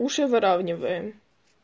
уши выравниваем